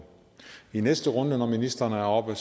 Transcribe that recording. i næste runde når ministrene er oppe